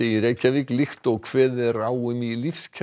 í Reykjavík líkt og kveðið er á um í